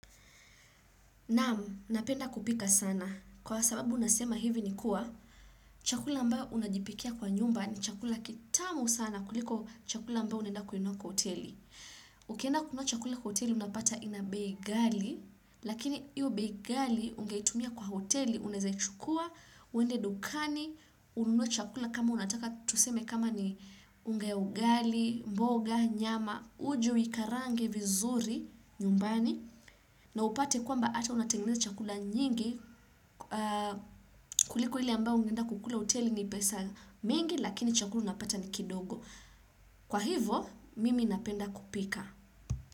Naam, napenda kupika sana. Kwa sababu nasema hivi ni kuwa, chakula ambao unajipikia kwa nyumba ni chakula kitamu sana kuliko chakula ambao unaenda kununua kwa hoteli. Ukienda kununua chakula kwa hoteli unapata ina bei ghali, lakini iyo bei ghali ungeitumia kwa hoteli unaezachukua, uende dukani, ununue chakula kama unataka tuseme kama ni unga ya ugali, mboga, nyama, uje, uikarange, vizuri, nyumbani. Na upate kwamba hata unatengeneza chakula nyingi kuliko ile ambao ungeenda kukula hoteli ni pesa mingi lakini chakula unapata ni kidogo kwa hivo mimi napenda kupika.